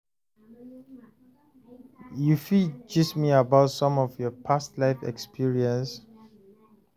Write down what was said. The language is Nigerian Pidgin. you fit gist me about some of your past life experiences?